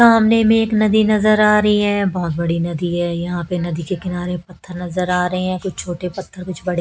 सामने में एक नदी नजर आ रही है बहोत बड़ी नदी है यहां पे नदी के किनारे पत्थर नजर आ रहे हैं कुछ छोटे पत्थर कुछ बड़े--